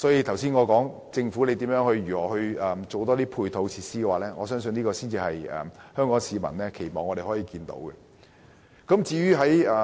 因此，我認為政府應提供更多配套設施，這才是香港市民希望見到的作為。